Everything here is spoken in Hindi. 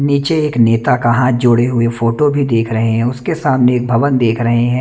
नीचे एक नेता का हाथ जोड़े हुए फोटो भी देख रहे हैं उसके सामने एक भवन देख रहे हैं।